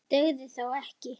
Skilaðu kveðju frá mér.